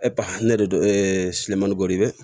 ne de don siman b'o de la